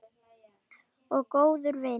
Og góður vinur.